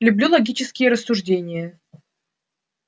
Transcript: люблю логические рассуждения